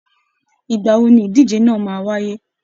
Ìgbà wo ni ìdíje máa wáyé?